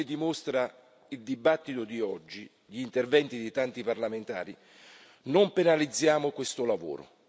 Ma, come dimostra il dibattito di oggi, con gli interventi di tanti parlamentari, non penalizziamo questo lavoro.